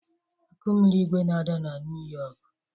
akụmirigwē na-ada na Niu Yọkụ